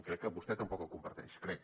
crec que vostè tampoc el comparteix crec